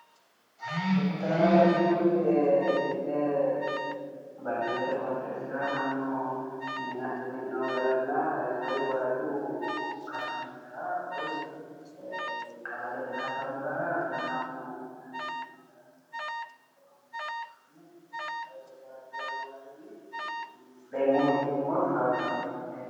Photote aana la'neemot mitte baadiyyete qooxeesira mannu mine asse mi'newo garana woy woradu katamira woy qawalete katamira mannu mine asse mi'nawo gara leelishanno qoriqqorotey huxxirewota leelishanno misileet